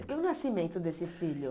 E o nascimento desse filho?